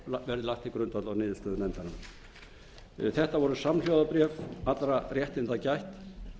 verði lagt til grundvallar niðurstöðu nefndarinnar þetta voru samhljóða bréf allra réttinda gætt